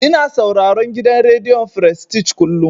Ina sauraron gidan rediyon frestij kullum.